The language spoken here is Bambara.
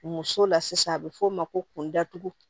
Muso la sisan a bɛ f'o ma ko kunda dugu